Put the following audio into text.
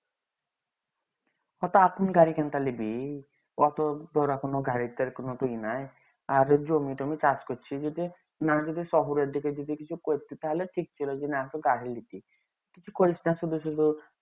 গাড়ি কিনতে লিবি অটো আর জমি তমি চাষ করছে যদি শহর দিগে যদি কিছু করতি তাহলে ঠিক ছিল যে না